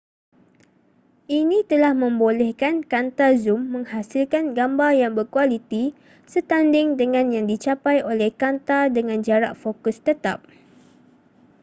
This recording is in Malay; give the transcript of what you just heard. ini telah membolehkan kanta zum menghasilkan gambar yang berkualiti setanding dengan yang dicapai oleh kanta dengan jarak fokus tetap